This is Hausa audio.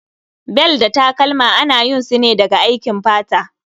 Bel da takalma ana yin su ne daga aikin fata